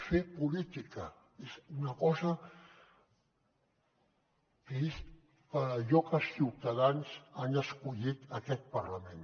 fer política és una cosa que és per allò que els ciutadans han escollit aquest parlament